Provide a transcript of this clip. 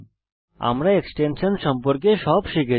আমরা এক্সটেনশান সম্পর্কে সব শিখেছি